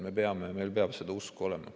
Meil peab seda usku olema.